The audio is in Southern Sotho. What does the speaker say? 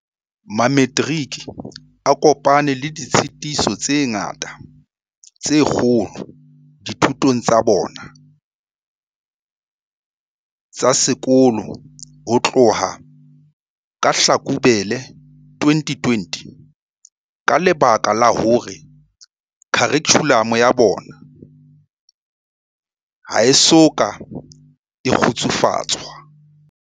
Mametiriki a kopane le ditshitiso tse ngata tse kgolo dithutong tsa bona tsa sekolo ho tloha ka Hlakubele 2020 ka lebaka la hore kharikhulamo ya bona ha e soka e kgutsufatswa.